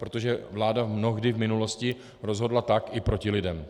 Protože vláda mnohdy v minulosti rozhodla tak i proti lidem.